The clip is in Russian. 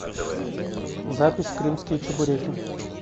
запись крымские чебуреки